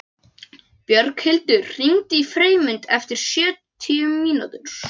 Björghildur, hringdu í Freymund eftir sjötíu mínútur.